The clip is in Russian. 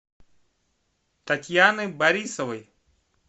татьяны борисовой